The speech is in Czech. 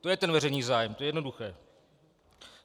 To je ten veřejný zájem, to je jednoduché.